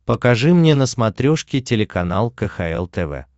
покажи мне на смотрешке телеканал кхл тв